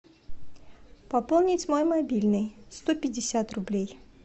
пополнить мой мобильный сто пятьдесят рублей